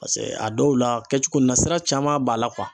Paseke a dɔw la, kɛcogo nin na sira caman b'a la